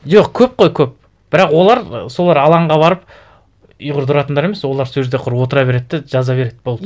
жоқ көп қой көп бірақ олар ы солар алаңға барып ұйғырды ұратындар емес олар сол жерде құр отыра береді де жаза береді болды